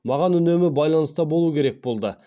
маған үнемі байланыста болу керек болды